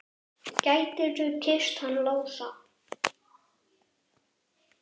Gætirðu kysst hann Lása?